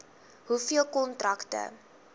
hoeveel kontrakte